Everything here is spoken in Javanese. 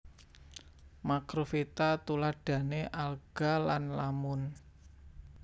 Makrofita tuladhane alga lan lamun